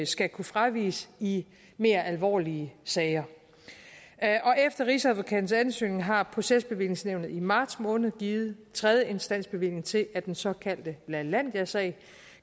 skal kunne fraviges i mere alvorlige sager efter rigsadvokatens ansøgning har procesbevillingsnævnet i marts måned givet tredjeinstansbevilling til at den såkaldte lalandiasag